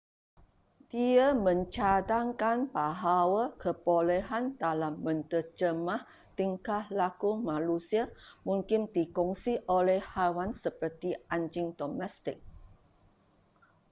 dia mencadangkan bahawa kebolehan dalam menterjemah tingkah laku manusia mungkin dikongsi oleh haiwan seperti anjing domestik